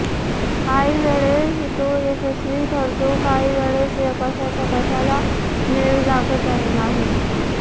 काहीवेळेस तो यशस्वी ठरतो काहीवेळेस कशाचा कशाला मेळ लागत नाही